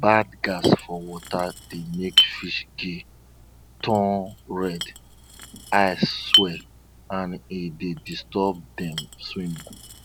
bad gas for water dey make fish gill turn red eye swell and e dey disturb dem swimming